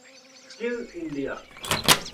skill India